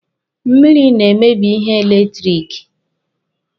Mmiri na-emebi ihe eletiriki.